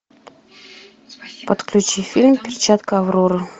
подключи фильм перчатка авроры